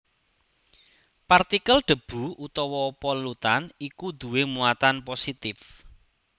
Partikel debu utawa polutan iku duwé muatan positif